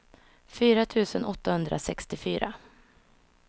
fyra tusen åttahundrasextiofyra